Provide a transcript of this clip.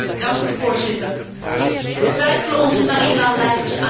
Twijfelen onze nationale leiders aan het nut van vrij reizen?